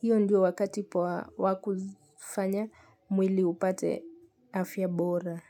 hiyo ndio wakati poa wa kufanya mwili upate afya bora.